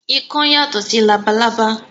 Ikán yàtọ̀ sí labalábá